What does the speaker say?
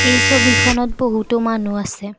এই ছবিখনত বহুতো মানুহ আছে।